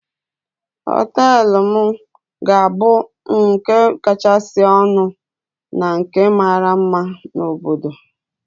Hóteélụ̀ m ga-abụ nke kachasị ọnụ na nke mara mma na obodo